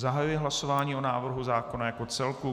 Zahajuji hlasování o návrhu zákona jako celku.